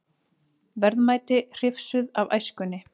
Verðmæti hrifsuð af æskunni